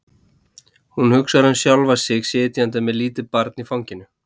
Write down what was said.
Hún hugsar um sjálfa sig sitjandi með lítið barn í fanginu.